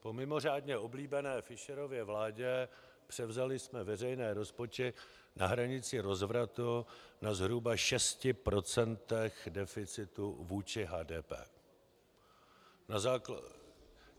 Po mimořádně oblíbené Fischerově vládě převzali jsme veřejné rozpočty na hranici rozvratu na zhruba 6 % deficitu vůči HDP.